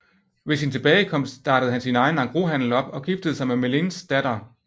Ved sin tilbagekomst startede han sin egen engroshandel op og giftede sig med Melins datter